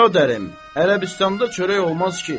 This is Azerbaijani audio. Bəradərim, Ərəbistanda çörək olmaz ki.